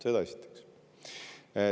Seda esiteks.